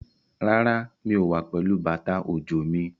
Rárá, mi ò wá pẹ̀lú bàtà òjò mi.